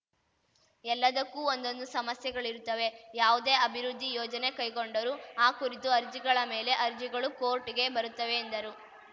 ಎಲ್ಲದಕ್ಕೂ ಒಂದೊಂದು ಸಮಸ್ಯೆಗಳಿರುತ್ತವೆ ಯಾವುದೇ ಅಭಿವೃದ್ಧಿ ಯೋಜನೆ ಕೈಗೊಂಡರೂ ಆ ಕುರಿತು ಅರ್ಜಿಗಳ ಮೇಲೆ ಅರ್ಜಿಗಳು ಕೋರ್ಟ್‌ಗೆ ಬರುತ್ತವೆ ಎಂದರು